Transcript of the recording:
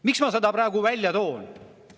Miks ma seda praegu välja toon?